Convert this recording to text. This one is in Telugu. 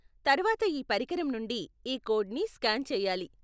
తర్వాత ఈ పరికరంనుండి ఈ కోడ్ని స్కాన్ చేయాలి.